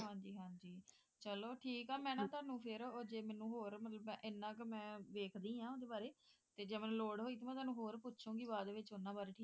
ਹਾਂ ਜੀ ਹਾਂ ਜੀ ਚਲੋ ਠੀਕ ਹੈ ਮੈਂ ਨਾ ਤੁਹਾਨੂੰ ਫੇਰ ਜੇ ਮੈਨੂੰ ਹੋਰ ਐਨਾ ਕ ਮੈਂ ਦੇਖਦੀ ਹਾਂ ਓਹਦੇ ਬਾਰੇ ਤੇ ਜੇ ਮੈਨੂੰ ਹੋਰ ਲੋੜ ਹੋਈ ਤੇ ਮੈਂ ਤੁਹਾਨੂੰ ਹੋਰ ਪੁੱਛੂਗੀ ਬਾਅਦ ਵਿੱਚ ਉਨ੍ਹਾਂ ਬਾਰੇ ਠੀਕ ਹੈ